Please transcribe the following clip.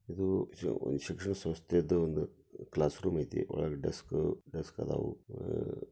ಇದು ಒಂದು ಶಿಕ್ಷಣ ಸಂಸ್ಥೆ ಐತಿ ಒಂದು ಕ್ಲಾಸ್ ರೂಮ್ ಐತಿ ಒಳಗೆ ಡೆಸ್ಕ್ ಡೆಸ್ಕ್ ಅದಾವು.